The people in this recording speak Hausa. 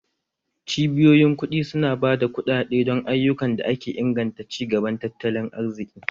Cibiyoyin kuɗi su na ba da kuɗaɗe don ayyukan da ke inganta ci gaban tattalin arziki